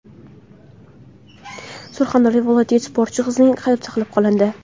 Surxondaryo viloyatida sportchi qizning hayoti saqlab qolindi.